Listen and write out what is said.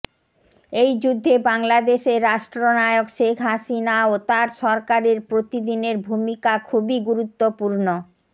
এই যুদ্ধে বাংলাদেশের রাষ্ট্রনায়ক শেখ হাসিনা ও তার সরকারের প্রতিদিনের ভূমিকা খুবই গুরুত্বপূর্ণ